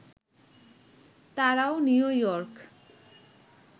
তারাও New York